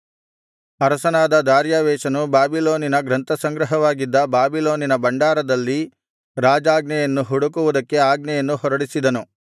ಅರಸನಾದ ದಾರ್ಯಾವೆಷನು ಬಾಬಿಲೋನಿನ ಗ್ರಂಥಸಂಗ್ರಹವಾಗಿದ್ದ ಬಾಬಿಲೋನಿನ ಭಂಡಾರದಲ್ಲಿ ರಾಜಾಜ್ಞೆಯನ್ನು ಹುಡುಕುವುದಕ್ಕೆ ಆಜ್ಞೆಯನ್ನು ಹೊರಡಿಸಿದನು